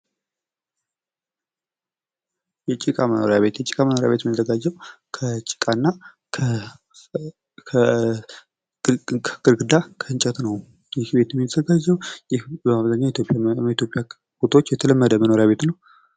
የጭቃ መኖሪያ ቤት የጭቃ መኖሪያ ቤት የሚዘጋጀው ከጭቃ እና ከግርግዳ ከእንጨት ነው ይህ ቤት የሚዘጋጀው። ይህ በአብዛኛው የኢትዮጵያ ቦታዎች የተለመደ መኖሪያ ቤት ነው።